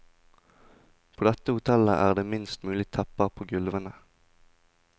På dette hotellet er det minst mulig tepper på gulvene.